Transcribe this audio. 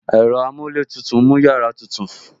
Ẹ̀rọ amuletutu mú yàrá tutù